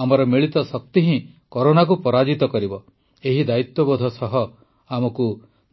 ଆମର ମିଳିତ ଶକ୍ତି ହିଁ କରୋନାକୁ ପରାଜିତ କରିବ ଏହି ଦାୟିତ୍ୱବୋଧ ସହ ଆମକୁ